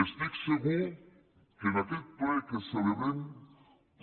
estic segur que en aquest ple que celebrem